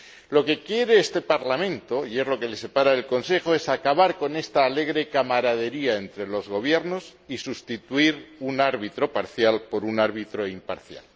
Lo que quiere este Parlamento ―y es lo que le separa del Consejo― es acabar con esta alegre camaradería entre los gobiernos y sustituir un árbitro parcial por un árbitro imparcial.